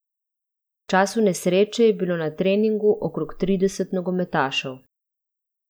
V času nesreče je bilo na treningu okrog trideset nogometašev.